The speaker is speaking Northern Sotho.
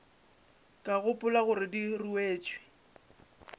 ka gopola gore di ruetšwe